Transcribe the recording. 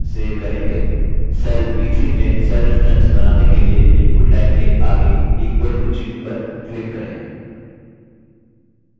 cell b3 में cell reference बनाने के लिए input line के आगे equal to चिह्न पर click करें